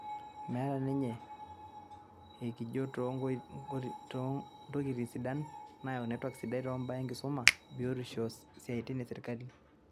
Metaa ninye eikijo too ntokitin sidan nayau netwak sidai too imbaa enkisuma, biotisho o siaitin e serkali